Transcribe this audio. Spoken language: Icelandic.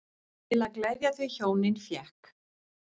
Til að gleðja þau hjónin fékk